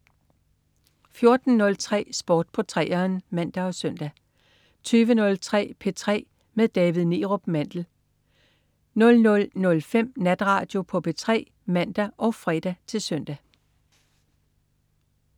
14.03 Sport på 3'eren (man og søn) 20.03 P3 med David Neerup Mandel 00.05 Natradio på P3 (man og fre-søn)